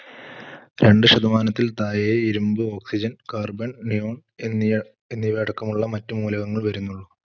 രണ്ടു ശതമാനത്തിൽ താഴെ ഇരുമ്പ്, oxygen, carbon, neon എന്നിയാ~എന്നിവ അടക്കമുള്ള മറ്റു മൂലകങ്ങൾ വരുന്നുള്ളൂ.